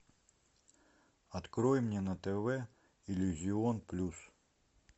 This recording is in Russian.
открой мне на тв иллюзион плюс